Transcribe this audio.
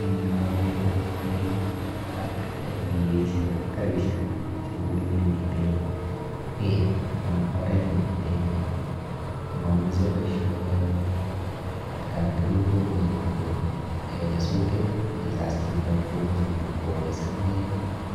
Eng yu akere biik akeh pikipikishek ak karishek chepune olemite beek anan oret nemite beek. Mameche boisioni amu atkan tukul komuchi kokon eh nyasutik yechas chito komuchi koumisankei